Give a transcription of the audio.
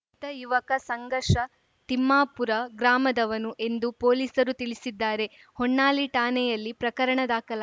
ತ ಯುವಕ ಸಂಘರ್ಷ ತಿಮ್ಲಾಪುರ ಗ್ರಾಮದವನು ಎಂದು ಪೊಲೀಸರು ತಿಳಿಸಿದ್ದಾರೆ ಹೊನ್ನಾಳಿ ಠಾಣೆಯಲ್ಲಿ ಪ್ರಕರಣ ದಾಖಲಾ